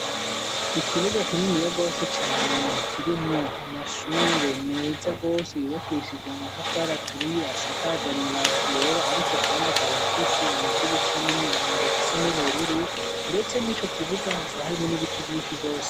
Ikibuga kininiya rwose cane kirimwo amashure meza rwose yubakishije amatafara aturiye asakaje amabati yera ariko kandi akaba afise amadirisha n'imiryango bisa n'ubururu ndetse murico kibuga hakaba harimwo n'ibiti vyinshi rwose.